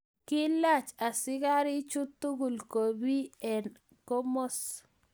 Kilach askarik chuu tugul kobie eng komos.